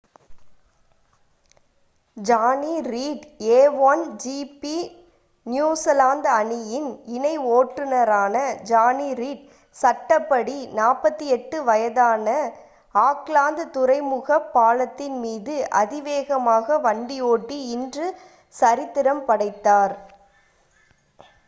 Johnny Reid a1 GP New Zealand அணியின் இணை ஓட்டுநரான ஜானி ரீட் சட்டப்படி 48 வயதான ஆக்லாந்து துறைமுகப் பாலத்தின் மீது அதிவேகமாக வண்டி ஓட்டி இன்று சரித்திரம் படைத்தார்